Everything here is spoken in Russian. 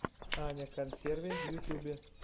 аня консерви в ютубе